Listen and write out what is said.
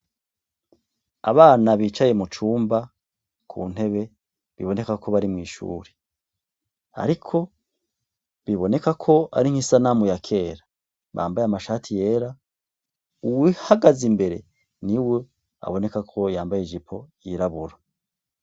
Abana bicaye mu cumba ku ntebe biboneka ko bari mw’ishure ariko biboneka ko ari nk’isanamu ya kera ,bambaye amashati yera , uwuhagaze imbere niwe aboneka ko yambaye ijipo yirabura.